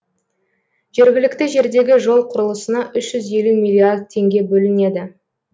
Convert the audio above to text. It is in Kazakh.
жергілікті жердегі жол құрылысына үш жүз елу миллиард теңге бөлінеді